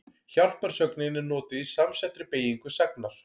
Hjálparsögnin er notuð í samsettri beygingu sagnar.